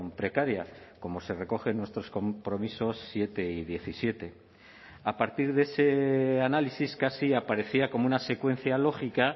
precaria como se recoge en nuestros compromisos siete y diecisiete a partir de ese análisis casi aparecía como una secuencia lógica